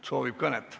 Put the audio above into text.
– soovib kõnet pidada.